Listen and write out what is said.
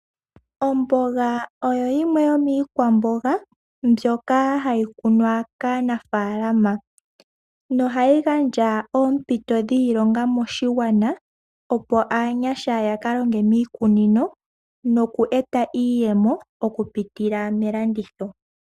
Omboga oyo yimwe yomiikwamboga mbyoka hayi kunwa kaanaafalama, nohayi gandja oompito dhiilonga moshigwana opo aanyasha yakalonge miikununo nokweeta iiyemo okupitila melanditho.